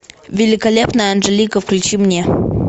великолепная анжелика включи мне